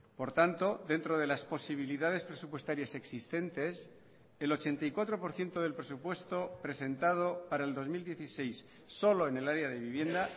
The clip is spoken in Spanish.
por tanto dentro de las posibilidades presupuestarias existentes el ochenta y cuatro por ciento del presupuesto presentado para el dos mil dieciséis solo en el área de vivienda